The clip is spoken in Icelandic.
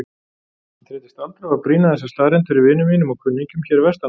Ég þreytist aldrei á að brýna þessa staðreynd fyrir vinum mínum og kunningjum hér vestanhafs.